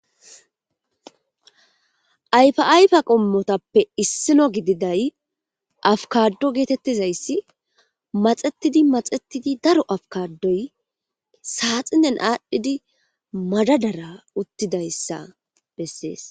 Ayfiayfa qommotappe issino gididay afkado geetettizayssi maxettidi maxettidi daro afkadoy saaxinen aadhdhidi madadara uttidayssa bessees.